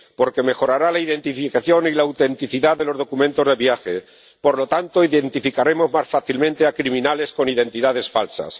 Porque mejorará la identificación y la autenticidad de los documentos de viaje y, por lo tanto, identificaremos más fácilmente a criminales con identidades falsas